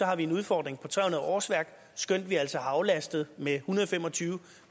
har vi en udfordring på tre hundrede årsværk skønt vi altså har aflastet med en hundrede og fem og tyve